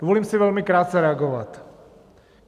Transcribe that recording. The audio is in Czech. Dovolím si velmi krátce reagovat.